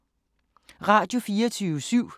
Radio24syv